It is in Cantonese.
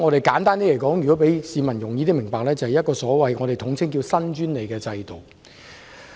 簡單而言，為了讓市民易於明白，我們將上述制度統稱為"新專利制度"。